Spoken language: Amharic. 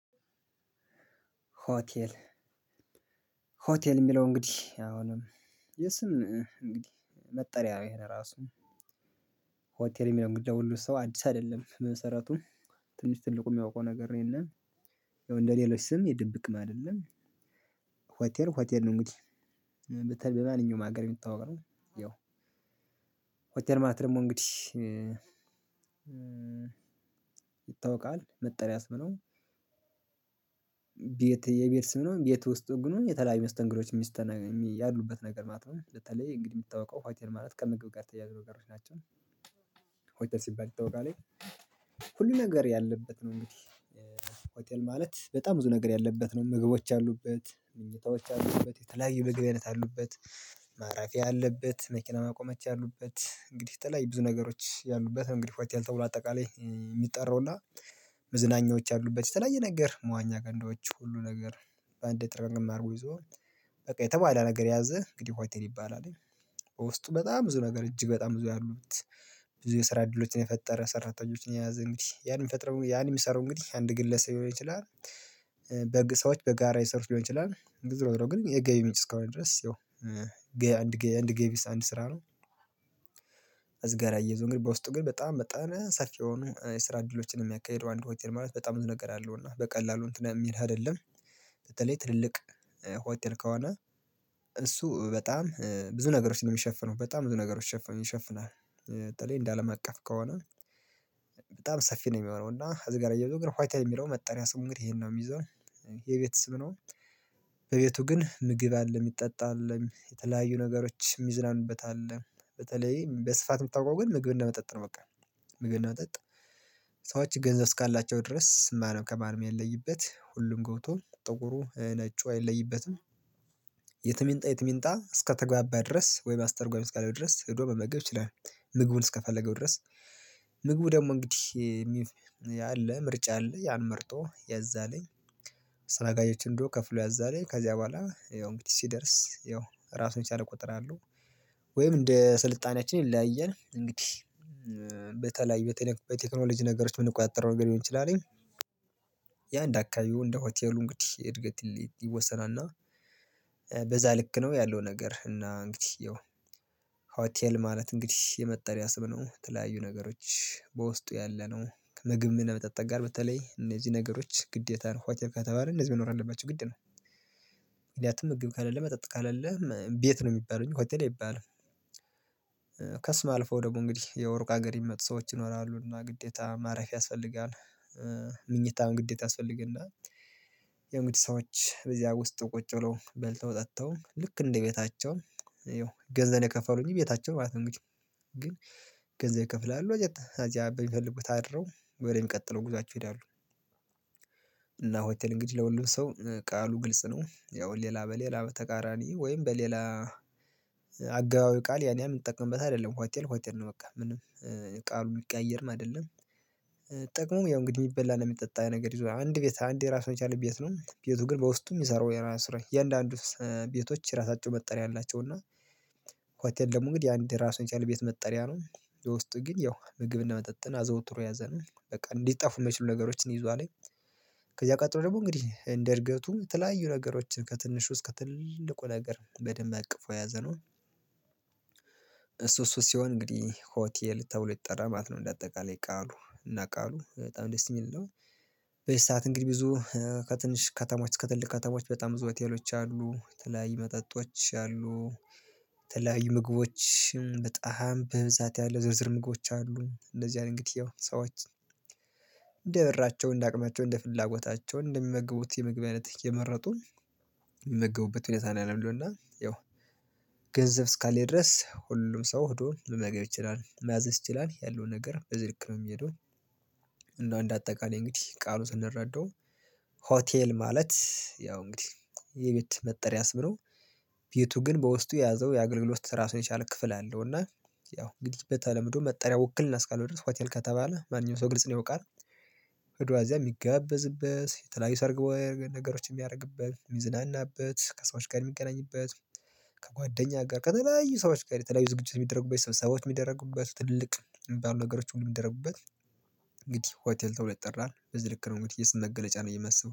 ሆቴል ሆቴል የሚለው እንግዲህ አሁንም የስም እንግዲህ መጠሪያ ይህን ራሱ ሆቴል የሚለውን እንግዲ ለሁሉ ሰው አዲስ አይደለም በመሰረቱ ትንሽ ትልቁ የሚያውቀው ነገር ነው የለም ያው እንደሌሎች ስም የድብቅም አይደለም። ሆቴል ሆቴል ነው እንግዲህ በተለይ በማንኛውም ሀገር የሚታወቅ ነው። ያው ሆቴል ማለት ደግሞ እንግዲህ ይታወቃል መጠሪያ ስም ነው። ቤት የቤት ስም ነው ቤት ውስጥ ግኑ የተለያዩ መስተንዶች የሚስተና የሚ ያሉበት ነገር ማለት ነው። በተለይ እንግዲህ የሚታውቀው ሆቴል ማለት ከምግብ ጋር የተያያዙ ነገሮች ናቸው። ሆቴል ሲባል ይታወቃል ሁሉ ነገር ያለበት ነው። እንግዲህ ሆቴል ማለት በጣም ብዙ ነገር ያለበት ነው ምግቦች አሉበት ምኞታዎች አሉበት የተለያየ የምግብ አይነት አሉበት። ማረፊያ አለበት መኪና ማቆሚያዎች ያሉበት እንግዲህ በየተለያዩ ብዙ ነገሮች ያሉበት ነው። እንግዲህ ሆቴል ተብሎ አጠቃላይ የሚጠራው እና መዝናኛዎች ያሉበት የተለያየ ነገር መዋኛ ገንዳዎች ሁሉ ነገር በአንድ ጥርቅምቅም አድርጎ ይዞ በቃ የተሟላ ነገር የያዘ እንግዲህ ሆቴል ይባላልኝ። ውስጡ በጣም ብዙ ነገር እጅግ በጣም ብዙ ያሉት ብዙ የስራ እድሎችን የፈጠረ ሰራተኞችን የያዘ እንግዲህ ያን የሚፈጥረው ያን የሚሠረው እንግዲህ አንድ ግለሰብ ሊሆን ይችላል። በግ ሰዎች በጋራ የሠሩት ሊሆን ይችላልኝ ዞሮ ዞሮ ግን የገቢ ምንጭ እስካሆነ ድረስ ያው ገ አንድ ገ አንድ ገቢስ አንድ ስራ ነው። እዚ ጋር እያይዞ አንግዲህ በውስጡ ግን በጣም በጣም ሰፊ የሆኑ የስራ እድሎችን የሚያካሂደው አንድ ሆቴል ማለት በጣም ብዙ ነገር አ አለው እና በቀላሉ እንትን የሚል አይደለም። በተለይ ትልልቅ ሆቴል ከሆነ እሱ በጣም ብዙ ነገሮችን ነው የሚሸፍነው በጣም ብዙ ነገሮች ይሸ ይሽፍናል። በተለይ እንደ አለም አቀፍ ከሆነ በጣም ሰፊ ነው የሚሆነው እና እዚህ ጋር አያይዞ ግን ሆቴል የሚለው መጠሪያ ስሙ እንግዲህ ይሄን ነው የሚይዘው። የቤት ስም ነው። በቤቱ ግን ምግብ አለ የሚጠጣ አለ የተለያዩ ነገሮች የሚዝናኑበት አለ። በተለይ በስፋት የምታውቀው ግን ምግብ እና መጠጥ ነው በቃ ምግብ እና መጠጥ። ገንዘብ እስካላቸው ድረስ ማንም ከማንም የማይለይበት ሁሉም ገብቶ ጥቁሩ ነጩ አይለይበትም። የትም ይምጣ የትም ይምጣ እስከተግባባ ድረስ ወይ አስተርጓሚ እስከለው ድረስ ሄዶ መመግብ ይችላል። ምግቡን እስከፈለገው ድረስ ምግቡ ደግሞ እንግዲህ የሚ ያለ ምርጫ አለ ያን መርጦ ያዛለኝ። አስተናጋጆችን ሂዶ ከፍሎ ያዛልኝ ከዚያ በኋላ ይኸው እንግዲህ ሲደርስ ያው ራሱን የቻለ ቁጥር አለው። ወይም እንደ ስልጣኔያችን ይለያያል እንግዲህ በተለይ በቴኔክ በቴክኖሎጂ ነገሮች ልንቆጣጠረው የምንቆጣጠረው ነገር ሊሆን ይችላልኝ። ያ እንደ አካባቢው እንደ ሆቴሉ እንግዲህ እድገት ይለ ይወሰናልና እና በዛ ልክ ነው ያለው ነገር እና እንግዲህ ያው ሆቴል ማለት እንግዲህ የመጠሪያ ስም ነው የተለያዩ ነገሮች በውስጡ ያለ ነው። ምግብ ምን መጠጥ ጋር በተለይ እነዚህ ነገሮች ግዴታ ነው ሆቴል ካተባለ እነዚህ መኖር አለባቸው ግድ ነው። ሂደህ አትመግብ ከሌለ መጠጥ ከሌለ ቤት ነው የሚባለው እንጅ ሆቴይ አይባልም። ከስም አልፎ ደግሞ እንግዲህ ያው ሩቅ ሀገር የሚመጡ ሰዎች ይኖራሉ እና ግዴታ ማረፊያ ያስፈልጋል። ምኝታም ግዴታ ያስፈልገናል። ያው እንግዲህ ሰዎች በዚያ ውስጥ ቁጭ ብለው በልተው ጠጥተው ልክ እንደ ቤታቸው ያው ገንዘብ ነው የከፈሉኝ እንጅ ቤታቸው ማለት ነው እንግዲህ። ግን ገንዘብ ይከፍላሉ እዚያት እዚያ በሚፈልጉት አድረው ወደሚቀጥለው ጉዟቸው ይሄዳሉ። እና ሆቴል እንግዲህ ለሁሉም ሰው ቃሉ ግልጽ ነው ያው ሌላ በሌላ በተቃራኒ ወይም በሌላ አገባባዊ ቃል ያን ያህል የምንጠቀምበት አይደለም ሆቴል ሆቴል ነው። በቃ ምንም ቀያየርም አይደለም። ጥቅሙ ያው እንግዲህ የሚበላ እና የሚጠጣ ነገር ይዞ አንድ ቤት አንድ የራሱ የቻለ ቤት ነው ቤቱ ግን በውስጡም የሚሰራው የራሱ ሥራይ የእያንዳንዱ ቤቶች የራሳቸው መጠሪያ አላቸው እና ሆቴል ደግሞ እንግዲህ አንድ ራሱን የቻለ ቤት መጠሪያ ነው። የውስጥ ግን ያው ምግብን መጠጥን አዘውትሮ የያዘነው በቃ ሊጠፉ የማይችሉ ነገሮችን ይዟልኝ። ከዚያ ቀጥሎ ደግሞ እንግዲህ እንደ እድገቱ የተለያዩ ነገሮችን ከትንሹ እስከ ትልቁ ነገር በደንብ አቅፎ የያዘነው። እሱ እሱ ሲሆን እንግዲህ ሆቴል ተብሎ ይጠራል ማለት ነው እንደ አጠቃላይ ቃሉ እና ቃሉ በጣም ደስ የሚል ነው። በዚህ ሰዓት እንግዲህ ብዙ ከትንሽ ከተማዎች ከትልቅ ከተሞች በጣም ብዙ ሆቴሎች አሉ የተለያዩ መጠጦች አሉ። የተለያዩ ምግቦች በጣም በብዛት ያለ ዝርዝር ምግቦች አሉ እነዚያን እንግዲህ ያው ሰዎች እንደ ብራቸው እንደ አቅማቸው እንደ ፍላጎታቸው እንደሚመግቡት የምግብ አይነት እየመረጡ። የሚመገቡበት ሁኔታ ላይነው ያለው እና ያው ገንዘብ እስካለኝ ድረስ ሁሉም ሰው ሄዶ ሁሉም ነገር ይችላል ማዘዝ ይችላል ያለውን ነገር በዚህ ልክ ነው የሚሄደው። እንደው እንደ አጠቃላይ እንግዲህ ቃሉ ስንረዳው። ሆቴል ማለት ያው እንግዲህ የቤት መጠሪያ ስም ነው። ቤቱ ግን በውስጡ የያዘው የአገልግሎት ራሱን የቻለ ክፍል አለው እና ያው እንግዲህ በተለምዶ መጠሪያ ውክልና እና እስካለው ድረስ ሆቴል ከተባለ ማንኛውም ሰው ግልጽ ነው ያውቃል። ሄዶ ከዚያ የሚጋበዝበት የተለያዩ ሰርግ ወይ ነገሮችን የሚያደርግበት የሚዝናናበት ከሰዎች ጋር የሚገናኝበት ከጓደኛ ጋር ከተለያዩ ሰዎች ጋር የተለያዩ ዝግጅት የሚደረግበት ሰብሰባዎች የሚደረጉበት ትልቅ የሚባሉ ነገሮች ሁሉ የሚደረጉበት። እንግዲህ ሆቴል ተብሎ ይጠራል በዚህ ልክ ነው እንግዲህ የስም መገለጫ ነው ብየ የማስበው